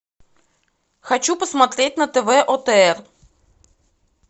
хочу посмотреть на тв отр